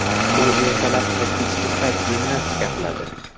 U ertalab va kechki payt gimnastika qiladi.